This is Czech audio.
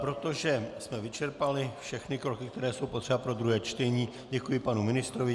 Protože jsme vyčerpali všechny kroky, které jsou potřeba pro druhé čtení, děkuji panu ministrovi.